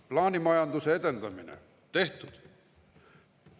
Plaanimajanduse edendamine – tehtud.